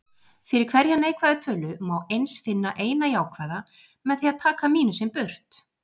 Fyrir hverja neikvæða tölu má eins finna eina jákvæða, með því að taka mínusinn burt.